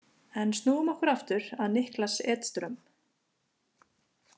En snúum okkur aftur að Niklas Edström.